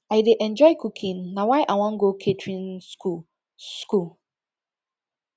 i dey enjoy cooking na why i wan go catering school school